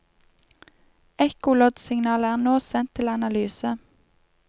Ekkoloddsignalet er nå sendt til analyse.